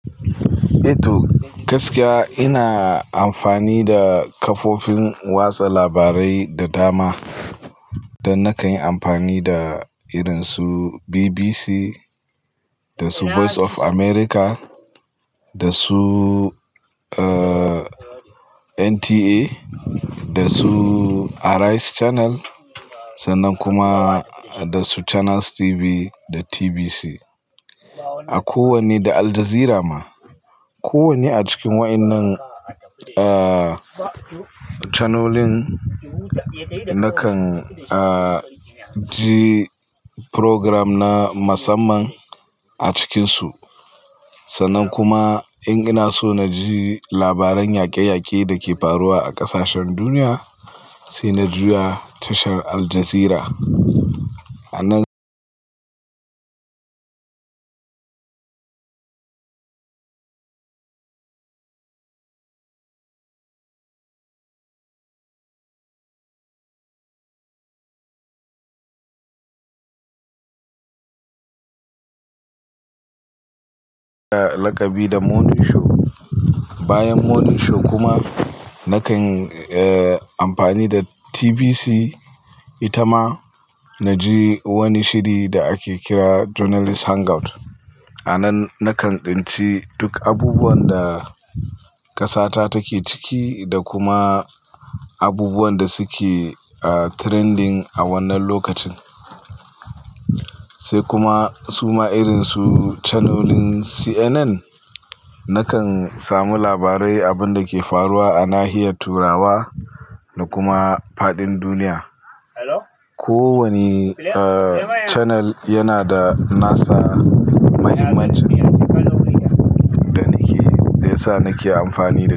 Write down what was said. Eh to gaskiya ina amfani da kafofin watsa labarai da dama. Dan na kan yi amfani da irinsu BBC, da su Voice of America, da su, eh, NTA, da su Arise Channel sannan kuma da su Channels TV da TVC. A kowanne da Al Jazeera ma. Kowanne a cikin wa'annan, eh, chanolin na kan, eh, ji program na musamman a cikinsu. Sannan kuma in ina so na ji labaran yaƙe-yaƙe da ke faruwa a ƙasashen duniya, sai na juya tashar Al Jazeera. A nan nakan bi da Morning Show. Bayan Morning Show kuma na kan, eh, amfani da TVC ita ma na ji wani shiri da ake kira Journalists Hangout. A nan na kan ɗinci duk abubuwan da ƙasata take ciki da kuma abubuwan da suke trending a wannan lokacin. Sai kuma suma irinsu chanolin CNN, na kan samu labarai abin da ke faruwa a nahiyar Turawa da kuma faɗin duniya. Kowanne, eh, channel yana da nasa mahimmanci da nake, da yasa nake amfani da su.